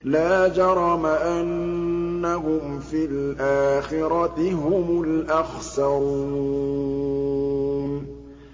لَا جَرَمَ أَنَّهُمْ فِي الْآخِرَةِ هُمُ الْأَخْسَرُونَ